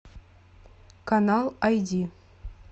канал айди